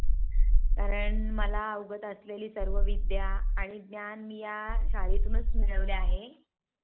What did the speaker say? कारण मला अवगत असलेली सर्व विद्या आणि ज्ञान मी या शाळेतून मिळविलेली आहे.